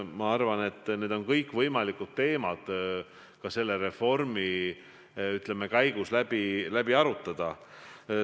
Ma arvan, et kõik need teemad on võimalik selle reformi käigus läbi arutada.